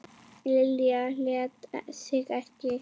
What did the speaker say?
Lilja lét sig ekki.